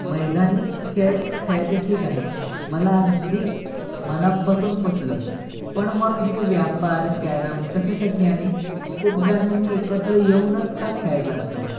मैदानी खेळ खेळायचं ठीक आहे मला अगदी मनापासून पटलं मन हे व्यापार कॅरम कशासाठी आले खूप जणांनी हे एकत्र येऊनच का खेळायचं असत?